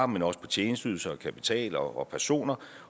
men også for tjenesteydelser og kapital og personer